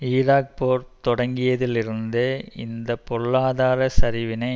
Iraq போர் தொடங்கியதில் இருந்து இந்த பொருளாதார சரிவினை